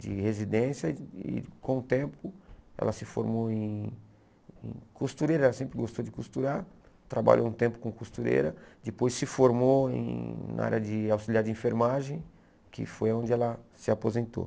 de residência e com o tempo ela se formou em em costureira, ela sempre gostou de costurar, trabalhou um tempo com costureira, depois se formou em na área de auxiliar de enfermagem, que foi onde ela se aposentou.